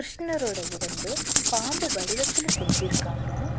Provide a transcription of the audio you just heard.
கிருஷ்ணரோட உடம்பு பாம்பு வடிவத்துல செஞ்சிருக்காங்க.